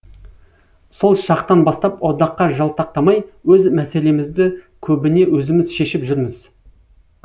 сол шақтан бастап одаққа жалтақтамай өз мәселемізді көбіне өзіміз шешіп жүрміз